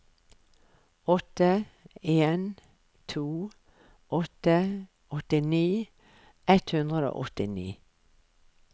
åtte en to åtte åttini ett hundre og åttini